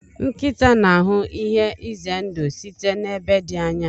nkịta n'ahụ ihe ize ndụ site n'ebe dị anya.